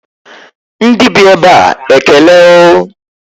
Ndị bi ebe a ekele o